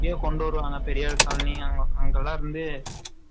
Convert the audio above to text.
இங்கயே கொண்டு வருவாங்க பெரியார் காலனி அங்க அங்க லாம் இருந்து